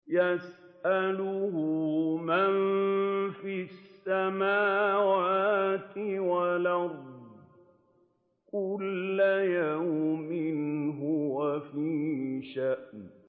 يَسْأَلُهُ مَن فِي السَّمَاوَاتِ وَالْأَرْضِ ۚ كُلَّ يَوْمٍ هُوَ فِي شَأْنٍ